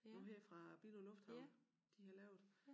Nu her fra Billund Lufthavn de har lavet